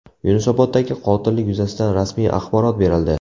Yunusoboddagi qotillik yuzasidan rasmiy axborot berildi.